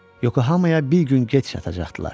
Yokohamaya bir gün gec çatacaqdılar.